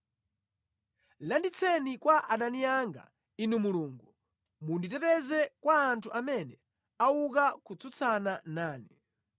Landitseni kwa adani anga, Inu Mulungu; munditeteze kwa anthu amene auka kutsutsana nane.